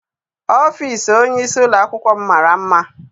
Ọfịịsi onyeisi ụlọakwụkwọ m mara mma.